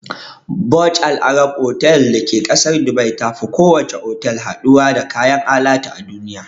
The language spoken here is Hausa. Burj al Arab otal da ke ƙasar Dubai tafi kowace otal haɗuwa da kayan alatu a duniya.